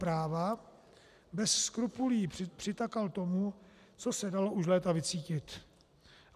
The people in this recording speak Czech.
Práva bez skrupulí přitakal tomu, co se dalo už léta vycítit.